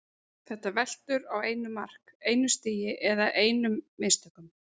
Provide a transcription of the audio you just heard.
Þetta veltur á einu mark, einu stigi eða einum mistökum.